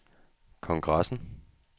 kongressen